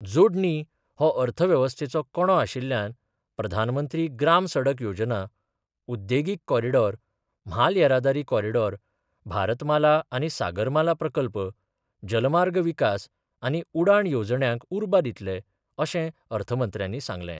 जोडणी हो अर्थव्यवस्थेचो कणो आशिल्ल्यान प्रधानमंत्री ग्राम सडक योजना, उद्देगीक कॉरीडॉर, म्हाल येरादारी कॉरीडॉर, भारतमाला आनी सागरमाला प्रकल्प, जलमार्ग विकास आनी उडाण येवजण्यांक उर्बा दितले, अशें अर्थमंत्र्यानी सांगलें.